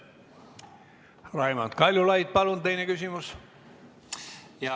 Raimond Kaljulaid, palun teine küsimus!